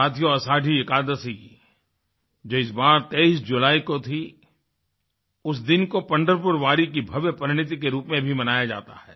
साथियों आषाढ़ी एकादशी जो इस बार 23 जुलाई को थी उस दिन को पंढरपुर वारी की भव्य परिणिति के रूप में भी मनाया जाता है